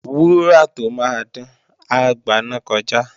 Wúrà tó máa dán, á gbaná kọjá